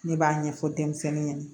Ne b'a ɲɛfɔ denmisɛnnin ɲɛna